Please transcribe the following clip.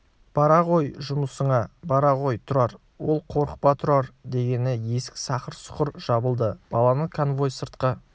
бара ғой жұмысыңа бара ғой тұрар ол қорықпа тұрар дегені есік сақыр-сұқыр жабылды баланы конвой сыртқа